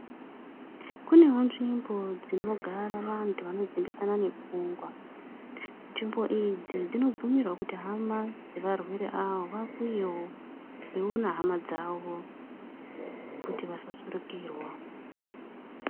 Kunewo nzvimbo dzinogara vanhu vanodzimbikana nepfugwa nzvimbo idzi dzinobvumirwa kuti hama dzevarwere ava vauyewo veiwona hama dzawo kuti vasa surukirwa.